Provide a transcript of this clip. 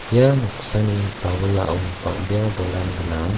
ia noksani bawilao bang·bea bolrang gnang.